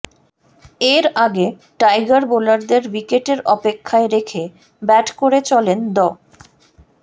এর আগে টাইগার বোলারদের উইকেটের অপেক্ষায় রেখে ব্যাট করে চলেন দ